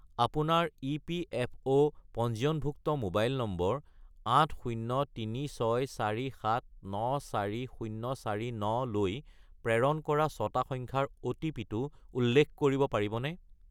আপোনাৰ ইপিএফঅ' পঞ্জীয়নভুক্ত mobile number 80364794049 -লৈ প্ৰেৰণ কৰা ছটা সংখ্যাৰ অ’টিপি-টো উল্লেখ কৰিব পাৰিবনে?